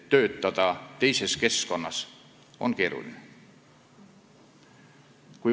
Töötada teises keskkonnas on keeruline.